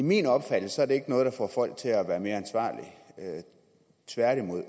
min opfattelse er det ikke noget der får folk til at være mere ansvarlige tværtimod